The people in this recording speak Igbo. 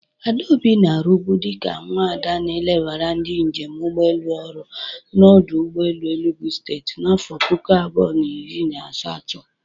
Adaobi na-arubụ dịka nwada na-elebara ndị njem ụgbọelu ọrụ n'ọdụ ụgbọelu Enugu steti n'afọ puku abụọ na iri na asatọ